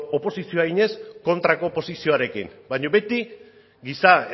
oposizioa eginez kontrako posizioarekin baina beti giza